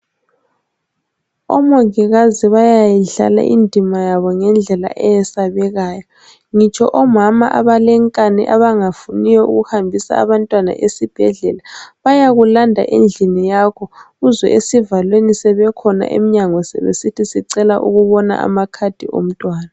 Omongikazi bayayidlala indima yabo ngendlela eyesabekayo ngitsho omama abale nkani abangafuniyo ukuhambisa abantwana esibhedlela bayakulanda endlini yakho uzwe esivalweni sebekhona emnyango sebesithi sicela ukubona ama card omntwana.